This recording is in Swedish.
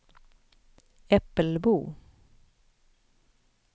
Äppelbo